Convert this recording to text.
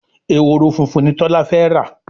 Ehoro fúnfún ní Tola fè rá